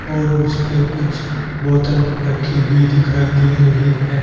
और उस पे कुछ बोतल रखी हुई दिखाई दे रही हैं।